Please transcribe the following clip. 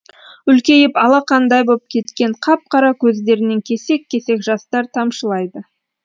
үлкейіп алақандай боп кеткен қап қара көздерінен кесек кесек жастар тамшылайды